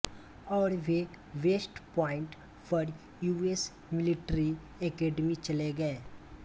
और वे West Point पर यूएस मिलिट्री एकेडमी चले गए